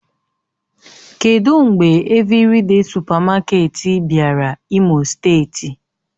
Kedụ mgbe Evịrịde sụpamaketi bịara imo steeti?